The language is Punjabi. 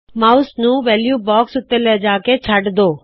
ਮਾਉਮ ਨੂੰ ਵੈਲੂ ਬਾਕਸ ਉੱਤੇ ਲਿਆਹ ਕੇ ਛਡ ਦੋ